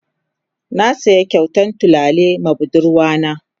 Na siya kyautan tulare ma budurwa na.